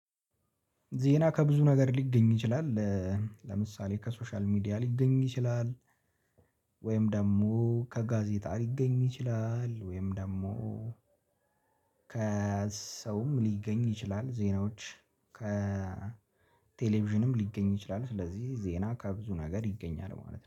ዜና ከብዙ ነገር ሊገኝ ይችላል። ለምሳሌ ከሶሻል ሚዲያ ሊገኝ ይችላል። ወይም ደግሞ ከጋዜጣ ሊገኝ ይችላል ወይም ደግሞ። ከሰውም ሊገኝ ይችላል ዜናዎች ከቴሌቪዥንም ሊገኝ ይችላል። ስለዚህ ዜና ከብዙ ነገር ይገኛል ማለት ነው